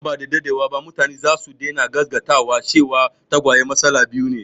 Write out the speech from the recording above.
Nan ba da daɗewa ba mutane za su daina gasgata cewa tagwaye matsala biyu ne